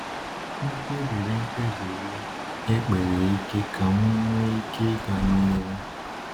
M kpebiri kpebiri ekpere ike ka m nwee ike ịga n’ihu.